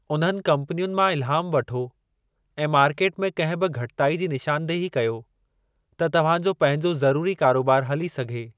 उन्हनि कम्पनियुनि मां इल्हाम वठो ऐं मार्केट में कंहिं बि घटिताई जी निशानदेही कयो त तव्हां जो पंहिंजो ज़रूरी कारोबार हली सघे।